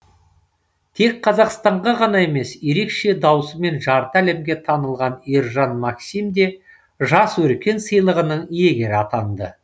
тек қазақстанға ғана емес ерекше даусымен жарты әлемге танылған ержан максим де жас өркен сыйлығының иегері атанды